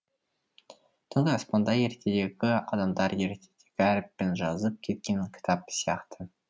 түнгі аспанда ертедегі адамдар ертедегі әріппен жазып кеткен кітап сияқты